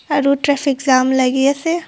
আৰু traffic jam লাগি আছে.